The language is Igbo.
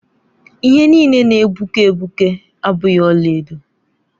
Ihe niile na-egbuke egbuke abụghị ọlaedo.